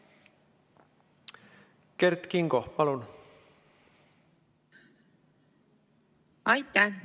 Kert Kingo, palun!